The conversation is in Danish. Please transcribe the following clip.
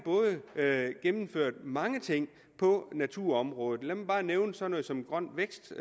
gennemført mange ting på naturområdet lad mig bare nævne sådan noget som grøn vækst